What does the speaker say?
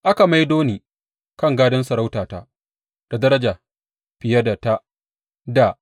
Aka maido ni kan gadon sarautata da daraja fiye da ta dā.